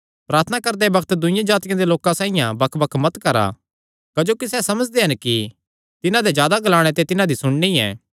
प्रार्थना करदे बग्त दूईआं जातिआं दे लोकां साइआं बकबक मत करा क्जोकि सैह़ समझदे हन कि तिन्हां दे जादा ग्लाणे ते तिन्हां दी सुणनी ऐ